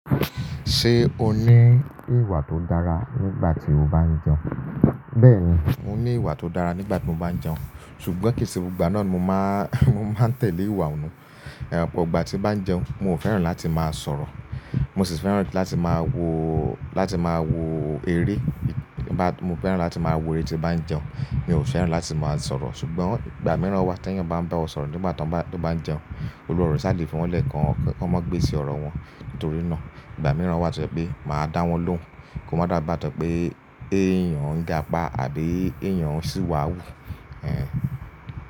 Ṣé o ní ìwà tó dára nígbà tí o bá ń jẹun? Bẹ́ẹ̀ni, mo ní ìwà tó dára nígbà tí mo bá ń jẹun ṣùgbọ́n kìí ṣe gbogbo gba náà mo máa, mo máa tẹ̀lé ìwà ọ̀un. Ẹ̀ but igbà tí bá ń jẹun, mo fẹ́ràn láti máa sọ̀rọ̀. Mo sì fẹ́ràn láti máa wo, láti máa wo eré. Mo fẹ́ràn láti máa wo eré tí bá ń jẹun. Mi ò fẹ́ràn láti máa sọ̀rọ̀. Ṣùgbọ́n ìgbà mìíràn wà t'eẹyan bá ń bá ọ sọ̀rọ̀ nígbà tó bá ń jẹun, Olúware o ṣà le fi wọn lẹ̀ kan kan má gbésí ọrọ̀ wọn. Nítorí náà ìgbà mìíràn wà tó jẹ́ pé màá dá wọn lóhùn, kó má dá bá tó pé ẹ́yàn ń gapa àbí ẹ́yàn sì wáwú. Ẹ̀hẹ́n.